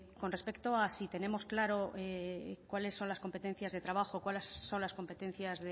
con respecto a si tenemos claro cuáles son las competencias de trabajo cuáles son las competencias